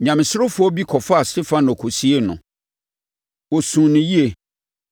Nyamesurofoɔ bi kɔfaa Stefano kɔsiee no. Wɔsuu no yie.